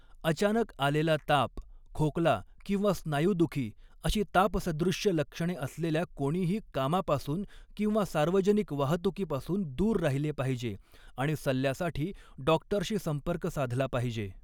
अचानक आलेला ताप, खोकला किंवा स्नायूदुखी अशी तापसदृश्य लक्षणे असलेल्या कोणीही कामापासून किंवा सार्वजनिक वाहतुकीपासून दूर राहिले पाहिजे आणि सल्ल्यासाठी डाॅक्टरशी संपर्क साधला पाहिजे.